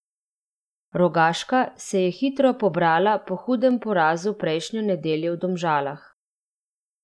Rogaška se je hitro pobrala po hudem porazu prejšnjo nedeljo v Domžalah.